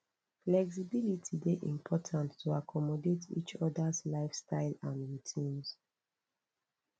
flexibility dey important to accommodate each others lifestyle and routines